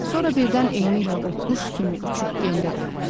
Sonra birdən eynilə o quş kimi uçub gendə dayanırdı.